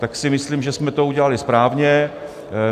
Tak si myslím, že jsme to udělali správně.